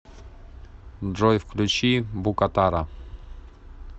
джой включи букатара